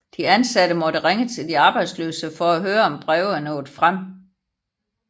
De ansatte måtte ringe til de arbejdsløse for at høre om breve er nået frem